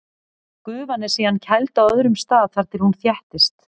Gufan er síðan kæld á öðrum stað þar til hún þéttist.